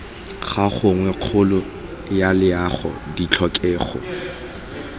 ga gagwe kgolo yaloago ditlhokego